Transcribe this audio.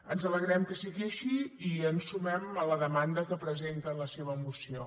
ens alegrem que sigui així i ens sumem a la demanda que presenta en la seva moció